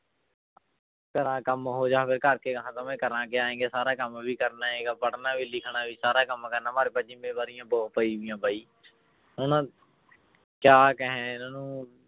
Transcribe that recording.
ਕੇਰਾਂ ਕੰਮ ਹੋ ਜਾਵੇ ਕਰਾਂ ਕਿਆ ਕਿ ਸਾਰਾ ਕੰਮ ਵੀ ਕਰਨਾ ਹੈਗਾ ਪੜ੍ਹਨਾ ਵੀ ਲਿਖਣਾ ਵੀ ਸਾਰਾ ਕੰਮ ਕਰਨਾ ਜ਼ਿੰਮੇਵਾਰੀਆਂ ਬਹੁਤ ਪਈਆਂ ਬਾਈ ਹੁਣ ਕਿਆ ਕਹੇ ਇਹਨਾਂ ਨੂੰ